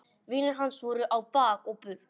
Vinir hans voru á bak og burt.